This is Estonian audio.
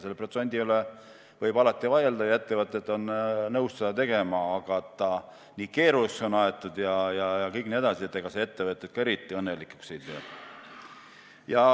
Selle protsendi üle võib vaielda ja ettevõtted on nõus seda tegema, aga et see nii keeruliseks on aetud, see ettevõtjaid eriti õnnelikuks ei tee.